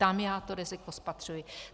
Tam já to riziko spatřuji.